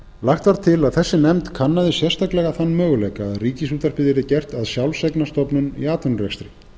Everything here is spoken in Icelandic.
lagt var til að þessi nefnd kannaði sérstaklega þann möguleika að ríkisútvarpið yrði gert að sjálfseignarstofnun í atvinnurekstri